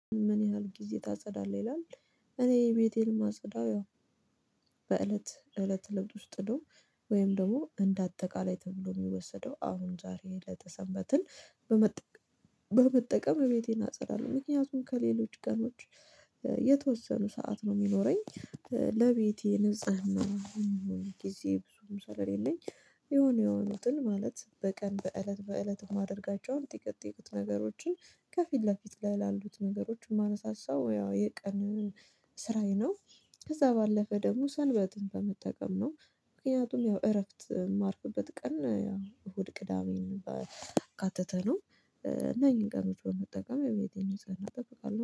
ምን ያህል ጊዜ ታጸዳለህ? ይላል እኔ ቤቴን ማጸዳው ያው በእለት እለት ልብት ውስጥ ነው ወይም ደግሞ እንደ አጠቃላይ ተብሎ የሚወሰደው አሁን ዛሬ ለተሰበትን በመጠቀም ቤቴን አጽራለሁ ምክንያቱም ከሌሎች ቀኖች የተወሰኑ ሰዓት ነው የሚኖረኝ ለቤቴ ንጽህና ጊዜ ብዙ ምሳሌ የለኝ የሆነ የሆኑትን ማለት በቀን በእለት በእለት የማደርጋቸውን ጥቂት ጥቂት ነገሮችን ከፊት ለፊት ላይ ላሉት ነገሮችን ማነሳሳው ያው የቀን ስራዬ ነው ከዛ ባለፈ ደግሞ ሰልበትን በመጠቀም ነው ምክንያቱም ያው እረፍት የማርፍበት ቀን ያው እሁድ ቅዳሜን ባካተተ ነው እና ይሄን ቀን መጠቀም የቤቴን ህፃናት እጠብቃለሁ።